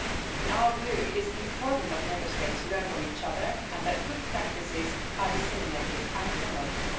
In our view, it is important that Member States learn from each other and that good practices are disseminated and promoted.